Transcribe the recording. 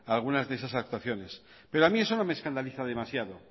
a algunas actuaciones pero a mí eso no me escandaliza demasiado